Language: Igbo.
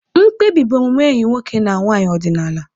Mkpebi bụ omume enyi nwoke na nwanyị ọdịnala.